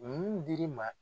Mun dir'i ma